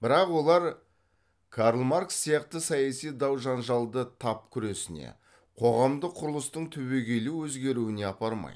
бірақ олар карл маркс сияқты саяси дау жанжалды тап күресіне қоғамдық құрылыстың түбегейлі өзгеруіне апармайды